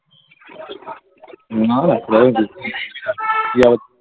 না না .